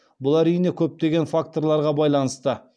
бұл әрине көптеген факторларға байланысты